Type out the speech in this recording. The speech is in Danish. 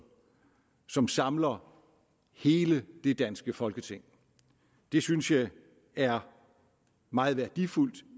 som samler hele det danske folketing det synes jeg er meget værdifuldt